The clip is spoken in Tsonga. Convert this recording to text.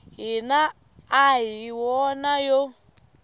hina a hi wona yo